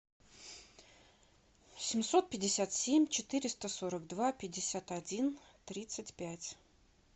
семьсот пятьдесят семь четыреста сорок два пятьдесят один тридцать пять